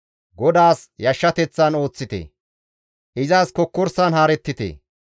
GODAAS yashshateththan ooththite; izas kokkorsan haarettite.